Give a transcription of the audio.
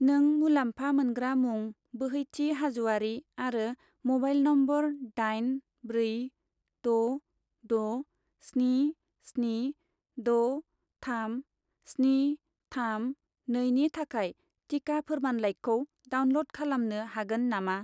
नों मुलामफा मोनग्रा मुं बोहैथि हाज'वारि आरो म'बाइल नम्बर दाइन ब्रै द' द' स्नि स्नि द' थाम स्नि थाम नै नि थाखाय टिका फोरमानलाइखौ डाउनल'ड खालामनो हागोन नामा?